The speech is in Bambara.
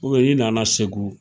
uniyɛn i nana segu